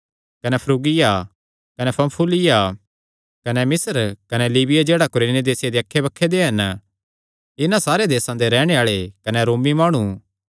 कने फ्रूगिया कने पन्फूलिया कने मिस्र कने लीबिया जेह्ड़ा कुरेने देस दे अक्खैबक्खे दे हन इन्हां सारे देसां दे रैहणे आल़ेआं कने रोमी माणु